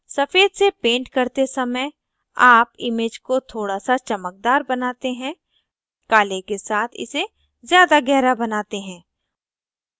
सफ़ेद से पेंट करते समय आप image को थोड़ा सा चमकदार बनाते हैं काले के साथ इसे ज़्यादा गहरा बनाते हैं